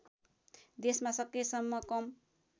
देशमा सकेसम्म कम